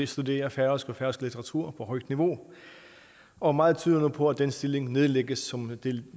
studere færøsk og færøske natur på højt niveau og meget tyder nu på at den stilling nedlægges som en